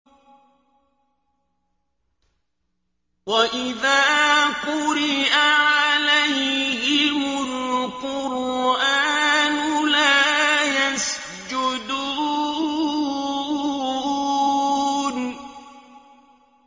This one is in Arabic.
وَإِذَا قُرِئَ عَلَيْهِمُ الْقُرْآنُ لَا يَسْجُدُونَ ۩